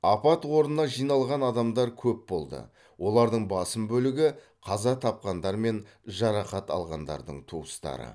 апат орнына жиналған адамдар көп болды олардың басым бөлігі қаза тапқандар мен жарақат алғандардың туыстары